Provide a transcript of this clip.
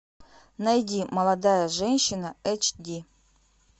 найди молодая женщина эйч ди